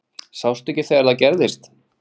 Sástu ekki þegar það gerðist?